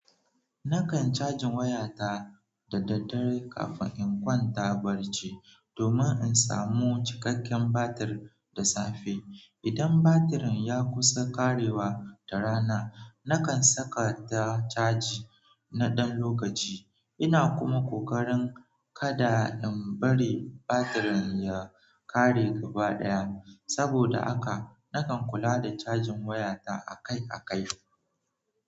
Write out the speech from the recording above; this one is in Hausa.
Nakan cajin wayata da daddare kafin in kwanta barci, domin in samu cikakken batir da safe. Idan batirin ya kusa ƙarewa da rana, nakan saka ta caji na ɗan lokaci. Ina kuma kokarin kada in bari batirin ya ƙare gaba ɗaya. Saboda haka, nakan kula da cajin wayata akai-akai.